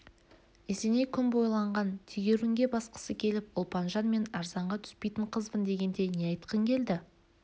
есеней күн бойы ойланған тегеурінге басқысы келіп ұлпанжан мен арзанға түспейтін қызбын дегенде не айтқың келді